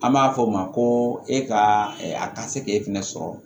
An b'a fɔ o ma ko e ka a ka se k'e fɛnɛ sɔrɔ